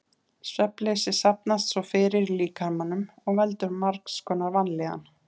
Svefnleysi safnast svo fyrir í líkamanum og veldur margs konar vanlíðan.